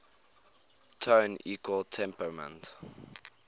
tone equal temperament